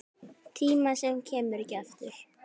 Tíma sem kemur ekki aftur.